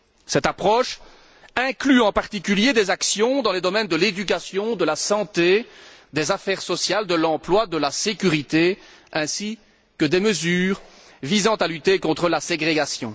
Cette approche inclut en particulier des actions dans les domaines de l'éducation, de la santé, des affaires sociales, de l'emploi, de la sécurité ainsi que des mesures visant à lutter contre la ségrégation.